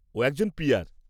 ও একজন পি আর।